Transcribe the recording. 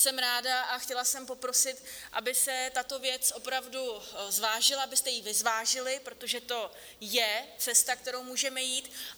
Jsem ráda a chtěla jsem poprosit, aby se tato věc opravdu zvážila, abyste ji vy zvážili, protože to je cesta, kterou můžeme jít.